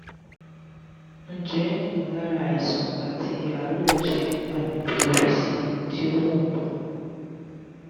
ǹjẹ́ ìmọ̀lára àìsàn àti àárẹ̀ jẹ́ àmì pleurisy tí ó wọ́pọ̀?